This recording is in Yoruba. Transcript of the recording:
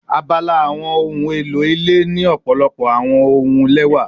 Abala awọn ohun elo ile ni ọpọlọpọ awọn ohun lẹwa